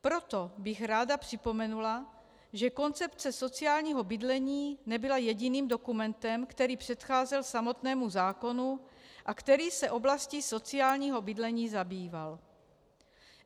Proto bych ráda připomenula, že koncepce sociálního bydlení nebyla jediným dokumentem, který předcházel samotnému zákonu a který se oblastí sociálního bydlení zabýval.